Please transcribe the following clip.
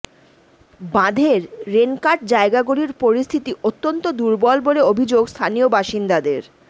বাঁধের rain cut জায়গাগুলির পরিস্থিতি অত্যন্ত দুর্বল বলে অভিযোগ স্থানীয় বাসিন্দাদের